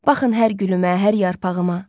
Baxın hər gülümdə, hər yarpağıma.